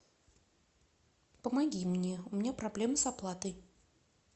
помоги мне у меня проблемы с оплатой